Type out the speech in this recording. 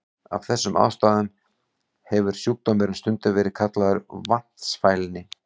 Af þessum ástæðum hefur sjúkdómurinn stundum verið kallaður vatnsfælni.